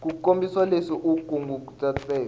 ku kombisa leswi u kunguhatiseke